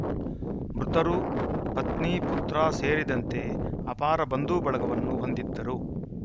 ಮೃತರು ಪತ್ನಿ ಪುತ್ರ ಸೇರಿದಂತೆ ಅಪಾರ ಬಂಧು ಬಳಗವನ್ನು ಹೊಂದಿದ್ದರು